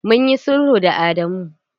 Mun yi sulhu da Adamu.